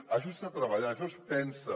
això s’ha de treballar això es pensa